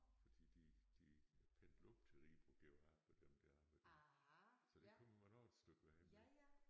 Fordi de de pendlede op til Ribe og går af på dem der så det kommer man også et stykke vej med